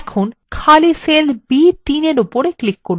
এখন খালি cell b3এর উপর click করুন